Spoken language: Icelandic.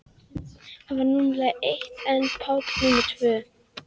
Hann var númer eitt en Páll númer tvö.